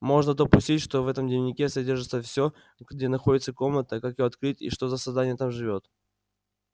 можно допустить что в этом дневнике содержится всё где находится комната как её открыть и что за создание там живёт